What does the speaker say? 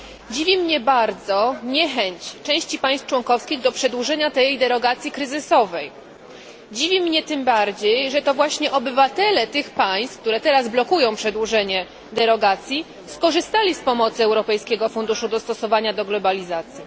Dziwi mnie bardzo niechęć części państw członkowskich do przedłużenia tej derogacji kryzysowej. Dziwi mnie tym bardziej, że to właśnie obywatele tych państw, które teraz blokują przedłużenie derogacji, skorzystali z pomocy Europejskiego Funduszu Dostosowania do Globalizacji.